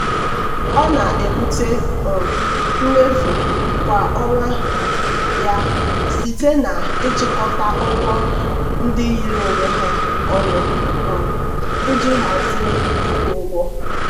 ọ na-ebute um mmefu kwa ọnwa ya site na-ịchịkọta ụgwọ ndị yiri onwe ha ọnụ um iji hazie ịkwụ ụgwọ.